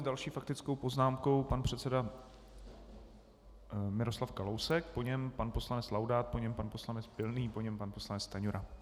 S další faktickou poznámkou pan předseda Miroslav Kalousek, po něm pan poslanec Laudát, po něm pan poslanec Pilný, po něm pan poslanec Stanjura.